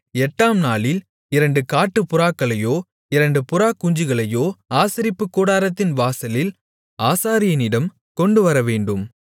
எட்டாம் நாளில் இரண்டு காட்டுப்புறாக்களையோ இரண்டு புறாக்குஞ்சுகளையோ ஆசரிப்புக்கூடாரத்தின் வாசலில் ஆசாரியனிடம் கொண்டுவரவேண்டும்